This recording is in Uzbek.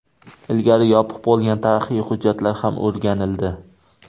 Ilgari yopiq bo‘lgan tarixiy hujjatlar ham o‘rganildi.